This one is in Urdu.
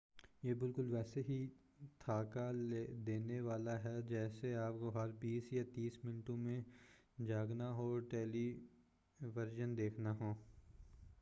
یہ بالکل ویسے ہی تھکا دینے والا ہے جیسے آپکو ہر بیس یا تیس منٹوں میں جاگنا ہو اور ٹیلی ویژن دیکھنا ہو